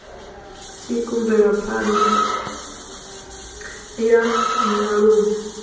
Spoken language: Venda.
tsiku mvelapha ṋda ya nyaluwo